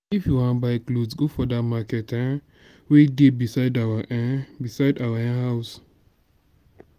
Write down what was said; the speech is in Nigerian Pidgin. if you wan buy cloth go for dat market um wey dey beside our um beside our um house.